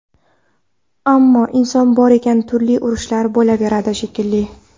Ammo inson bor ekan, turli urushlar bo‘laveradi shekilli.